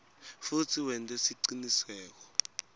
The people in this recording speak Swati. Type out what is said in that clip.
futsi wente siciniseko